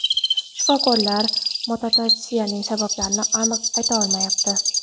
Shifokorlar mutatsiyaning sabablarini aniq ayta olmayapti.